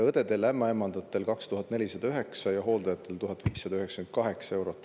Õdedel-ämmaemandatel oli 2409 ja hooldajatel 1598 eurot.